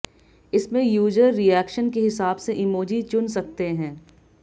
इसमें user reaction के हिसाब से इमोजी चुन सकते हैं